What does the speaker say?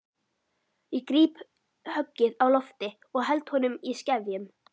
Ég gríp höggið á lofti og held honum í skefjum.